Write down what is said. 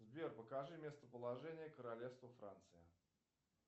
сбер покажи местоположение королевство франция